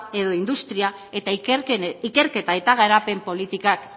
edo industria eta ikerketa eta garapen politikak